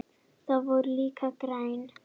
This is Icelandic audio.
Þau voru líka græn.